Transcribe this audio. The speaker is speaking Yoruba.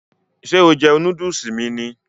Ṣé o jẹ núdùsì mi ni?